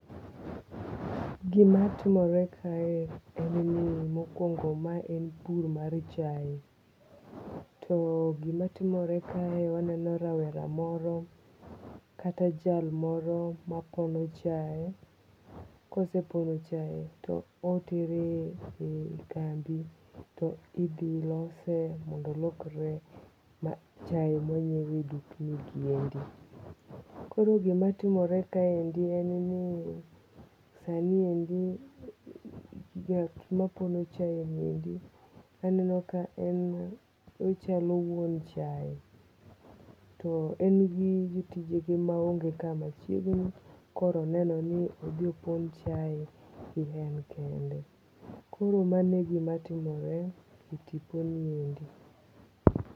Gima timore kae en ni mokwongo ma en puro mar chae. To gima timore kae waneno rawera moro kata jalmoro mapono chae. Kosepono chae to etere kambi to idhi lose mondo olokre chai ma wanyiew e dukni gi endi. Koro gimatimore kaendi en ni sai endi ng'at ma pono chae ni endi aneno ka en ochalo wuon chae. To en gi jotije ge maonge ka machiegni. Koro oneno ni odhi opon chae en kende. Koro mano e gima timore e tipo ni endi.